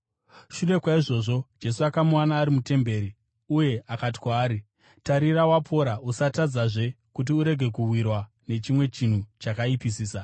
Shure kwaizvozvo, Jesu akamuwana ari mutemberi uye akati kwaari, “Tarira, wapora. Usatadzazve kuti urege kuwirwa nechimwe chinhu chakaipisisa.”